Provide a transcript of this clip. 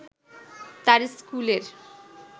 তার স্কুলের